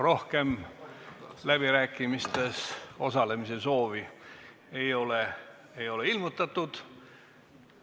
Rohkem läbirääkimistes osalemise soovi ei ole ilmutatud.